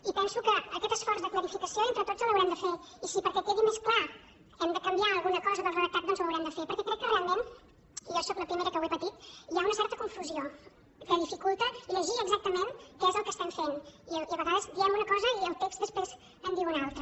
i penso que aquest esforç de clarificació entre tots l’haurem de fer i si perquè quedi més clar hem de canviar alguna cosa del redactat doncs ho haurem de fer perquè crec que realment i jo sóc la primera que ho he patit hi ha una certa confusió que dificulta llegir exactament què és el que estem fent i a vegades diem una cosa i el text després en diu una altra